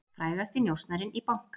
Frægasti njósnarinn í banka